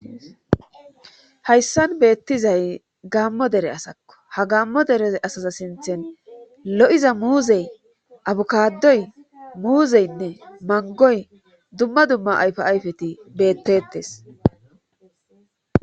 Hayssan beettizay gaammo dere asakko ha gaammo dere asaza sinthen lo7iza muuzey abukadoy muuzeynne mangoy dumma dumma ayfa ayfeti beettettes